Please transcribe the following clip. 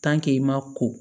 i ma ko